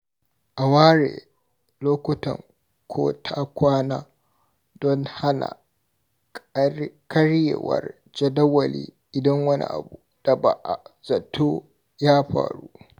A ware lokutan ko-ta-kwana don hana karyewar jadawali idan wani abu da ba a zato ya faru.